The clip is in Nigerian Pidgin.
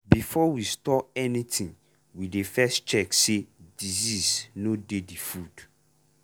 before we store anything we dey first check say disease no dey the food.